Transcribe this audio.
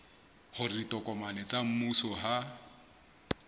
hore ditokomane tsa mmuso ha